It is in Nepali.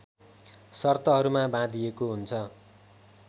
शर्तहरूमा बाँधिएको हुन्छ